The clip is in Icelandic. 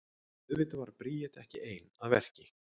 En auðvitað var Bríet ekki ein að verki.